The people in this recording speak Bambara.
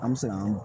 An bɛ se k'an